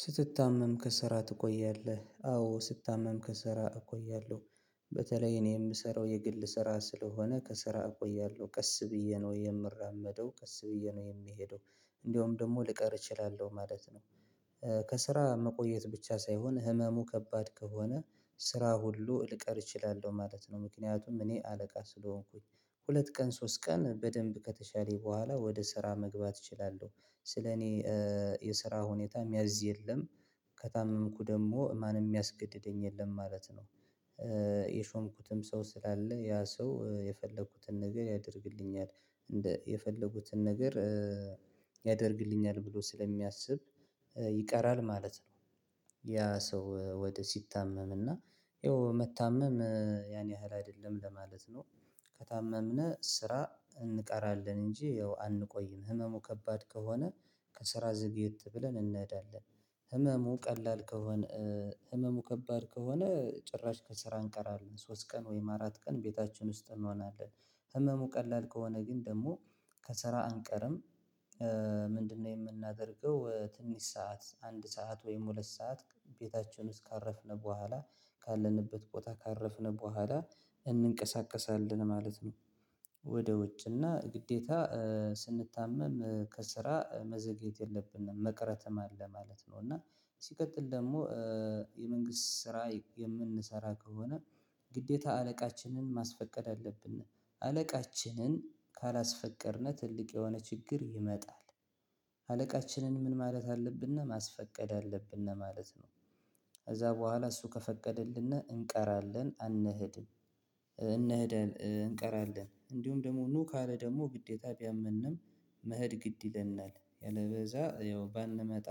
ስትታመም ከስራ ትቆያለህ? አዎ ስታመም ከስራ እቆያለሁ። በተለይ እኔ የምሰራው የግል ስራ ስለሆነ ከስራ እቆያለሁ ቀስ ብዬ ነው የምራመደው ቀስ ብዬ ነው የምሄደው እንደውም ደግሞ ልቀር እችላለሁ ማለት ነው። ከስራ መቆየት ብቻ ሳይሆን ህመሙ ከባድ ከሆነ ስራ ሁሉ ልቀር እችላለሁ ማለት ነው። ምክንያቱም እኔ አለቃ ስለሆንኩኝ ሁለት ቀን ሶስት ቀን በደንብ ከተሻለኝ በኋላ ወደ ስራ መግባት እችላለሁ ስለ እኔ የስራ ሁኔታ ሚያዝ የለም ከታመምኩ ደግሞ ማንም የሚያስገድደኝ የለም ማለት ነው። የሾምኩትም ሰው ስላለ ያ ሰው የፈለኩትን ነገር ያደርግልኛል እንደ የፈለኩትን ነገር ያደርግልኛል ብሎ ስለሚያስብ ይቀራል ማለት ነው። ያ ሰው ወደ ሲታመም እና ይኸው መታመም ያን ያህል አይደለም ለማለት ነው። ከታመምነ ስራ እንቀራለን እንጂ ያው አንቆይም ህመሙ ከባድ ከሆነ ከስራ ዘግየት ብለን እንሄዳለን። ህመሙ ቀላል ከሆነ ህመሙ ከባድ ከሆነ ጭራሽ ከስራ እንቀራለን ሶስት ቀን ወይም አራት ቀን ቤታችን ውስጥ እንሆናለን። ህመሙ ቀላል ከሆነ ግን ደግሞ ከስራ አንቀርም። ምንድነው የምናደርገው ትንሽ ሰዓት አንድ ሰዓት ወይም ሁለት ሰዓት? ቤታችን ውስጥ ካረፍነ በኋላ ካለንበት ቦታ ካረፍነ በኋላ እንንቀሳቀሳለን ማለት ነው። ወደ ውጭና ግዴታ ስንታመም ከስራ መዘግየት የለብንም መቅረተም አለ ማለት ነው። እና ሲቀጥል ደግሞ የመንግስት ስራ የምንሰራ ከሆነ ግዴታ አለቃችንን ማስፈቀድ አለብን። አለቃችንን ካላስፈቀድነው ትልቅ የሆነ ችግር ይመጣል። አለቃችንን ምን ማለት አለብን ማስፈቀድ አለብን ማለት ነው። ከዛ በኋላ እሱ ከፈቀደልን እንቀራለን አንሄድም። እንሄድ እንቀራለን እንዲሁም ደግሞ ኑ ካለ ደግሞ ግዴታ ቢያመንም መሄድ ግድ ይለናል ያለበዛ ያው ባንመጣ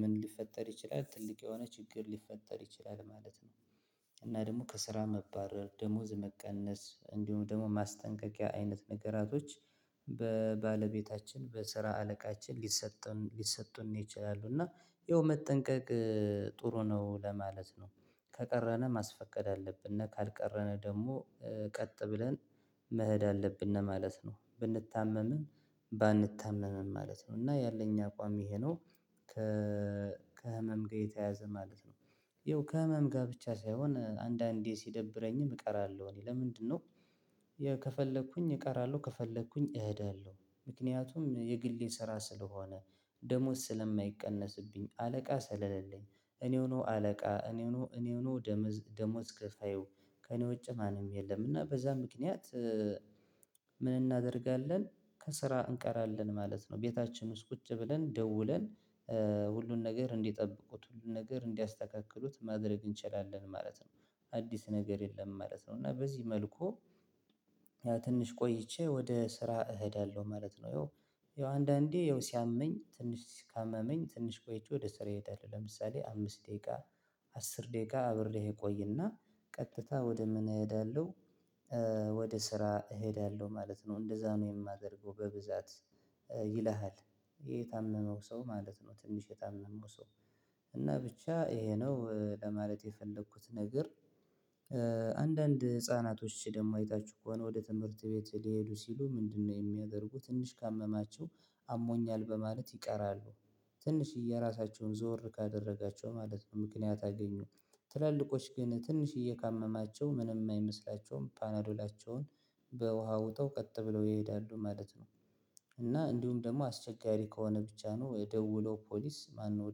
ምን ሊፈጠር ይችላል? ትልቅ የሆነ ችግር ሊፈጠር ይችላል ማለት ነው። እና ደግሞ ከስራ መባረር ደሞዝ መቀነስ እንዲሁም ደግሞ ማስጠንቀቂያ አይነት ነገራቶች በባለቤታችን በስራ አለቃችን ሊሰጡን ሊሰጡን ይችላሉ። እና ይኸው መጠንቀቅ ጥሩ ነው ለማለት ነው። ከቀረን ማስፈቀድ አለብን እና ካልቀረን ደግሞ ቀጥ ብለን መሄድ አለብን ማለት ነው። ብንታመምም ባንታመምም ማለት ነው እና ያለኝ አቋም ይሄ ነው። ከ ከህመም ጋር የተያያዘ ማለት ነው። ይኸው ከህመም ጋር ብቻ ሳይሆን አንዳንዴ ሲደብረኝም እቀራለሁ እኔ ለምንድነው? ከፈለኩኝ እቀራለሁ ከፈለኩኝ እሄዳለሁ ምክንያቱም የግሌ ስራ ስለሆነ ደሞዝ ስለማይቀነስብኝ አለቃ ሰለለልኝ እኔው ነው አለቃ እኔው ነው እኔው ነው። ደሞዝ ከፋዩ ከእኔ ውጭ ማንም የለም እና በዛ ምክንያት። ምን እናደርጋለን ከስራ እንቀራለን ማለት ነው። ቤታችን ውስጥ ቁጭ ብለን ደውለን ሁሉን ነገር እንዲጠብቁት ሁሉን ነገር እንዲያስተካክሉት ማድረግ እንችላለን ማለት ነው። አዲስ ነገር የለም ማለት ነው እና በዚህ መልኩ ያ ትንሽ ቆይቼ ወደ ስራ እሄዳለሁ ማለት ነው። ያው አንዳንዴ ያው ሲያመኝ ትንሽ ካመመኝ ትንሽ ቆይቼ ወደ ስራዬ እሄዳለሁ ለምሳሌ አምስት ደቂቃ አስር ደቂቃ አብሬህ እቆይና ቀጥታ ወደ ምን እሄዳለሁ? ወደ ስራ እሄዳለሁ ማለት ነው እንደዛ ነው የማደርገው በብዛት። ይልሃል የታመመው ሰው ማለት ነው ትንሽ የታመመው ሰው እና ብቻ ይሄ ነው ለማለት የፈለኩት ነገር። አንዳንድ ህፃናቶች ደግሞ አይታችሁ ከሆነ ወደ ትምህርት ቤት ሊሄዱ ሲሉ ምንድነው? የሚያደርጉ ትንሽ ካመማቸው አሞኛል በማለት ይቀራሉ። ትንሽዬ ራሳቸውን ዞር ካደረጋቸው ማለት ነው ምክንያት አገኙ። ትላልቆች ግን ትንሽዬ ካመማቸው ምንም አይመስላቸውም ፓናዶላቸውን በውሃ ውጠው ቀጥ ብለው ይሄዳሉ ማለት ነው። እና እንዲሁም ደግሞ አስቸጋሪ ከሆነ ብቻ ነው ደውለው ፖሊስ ማነው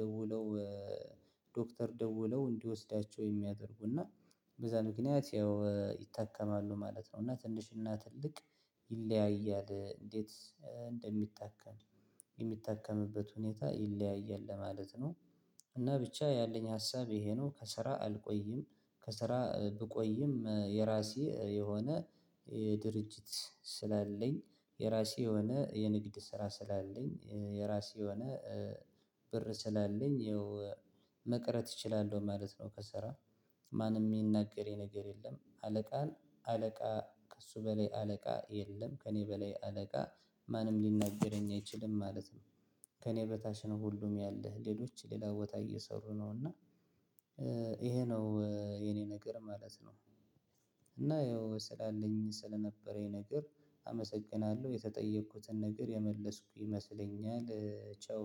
ደውለው? ዶክተር ደውለው እንዲወስዳቸው የሚያደርጉና በዛ ምክንያት ያው ይታከማሉ ማለት ነው። እና ትንሽና ትልቅ ይለያያል እንዴት እንደሚታከም የሚታከምበት ሁኔታ ይለያያል ለማለት ነው። እና ብቻ ያለኝ ሀሳብ ይሄ ነው ከስራ አልቆይም። ከስራ ብቆይም የራሴ የሆነ የድርጅት ስላለኝ የራሴ የሆነ የንግድ ስራ ስላለኝ የራሴ የሆነ ብር ስላለኝ ይኸው መቅረት እችላለሁ ማለት ነው። ከስራ ማንም የሚናገረኝ ነገር የለም። አለቃን አለቃ ከእሱ በላይ አለቃ የለም ከእኔ በላይ አለቃ ማንም ሊናገረኝ አይችልም ማለት ነው። ከእኔ በታች ነው ሁሉም ያለ ሌሎች ሌላ ቦታ እየሰሩ ነው እና ይሄ ነው የኔ ነገር ማለት ነው። እና ያው ስላለኝ ስለነበረኝ ነገር አመሰግናለሁ የተጠየኩትን ነገር የመለስኩ ይመስለኛል ቻው።